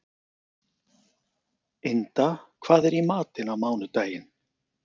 Inda, hvað er í matinn á mánudaginn?